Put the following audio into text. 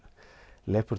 lepur